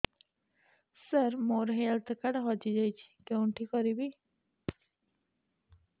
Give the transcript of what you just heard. ସାର ମୋର health card ହଜି ଯାଇଛି କେଉଁଠି କରିବି